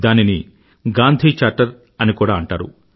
దానిని గాంధీ చార్టర్గాంధీ చార్టర్ అని కూడా అంటారు